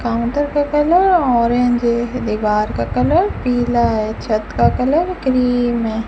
Counter का colour orange है दीवार का कलर पीला है छत का कलर क्रीम है।